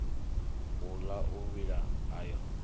u ḽa u vhila ayo